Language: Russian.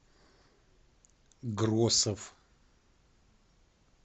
гросов